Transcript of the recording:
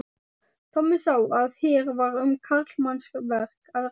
Tommi sá að hér var um karlmannsverk að ræða.